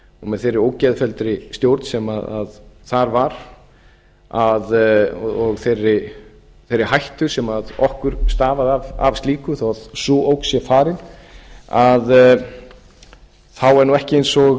með þeirri ógeðfelldu stjórn sem þar var og þeirri hættu sem okkur stafaði af slíku þó að sú ógn sé farin þá er nú ekki eins og